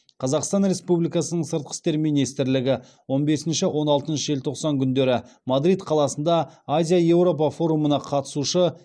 қазақстан республикасының сыртқы істер министрлігі он бесінші он алтыншы желтоқсан күндері мадрид қаласында азия еуропа форумына қатысушы